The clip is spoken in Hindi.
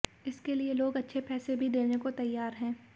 इसके के लिए लोग अच्छे पैसे भी देने को तैयार हैं